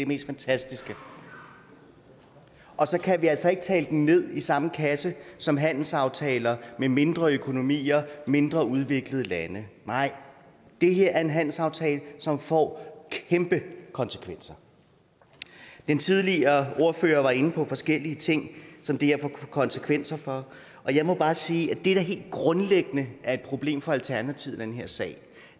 mest fantastiske og så kan vi altså ikke tale den ned i samme kasse som handelsaftaler med mindre økonomier mindre udviklede lande nej det her er en handelsaftale som får kæmpe konsekvenser den tidligere ordfører var inde på forskellige ting som det her får konsekvenser for og jeg må bare sige at det der helt grundlæggende er et problem for alternativet i den her sag